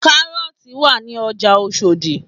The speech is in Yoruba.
Kárọ́ọ̀tì wà ní ọjà Oṣòdì